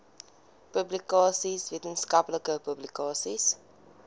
publikasies wetenskaplike publikasies